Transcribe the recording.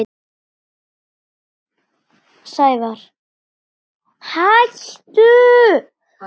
Er fólk búið að gleyma?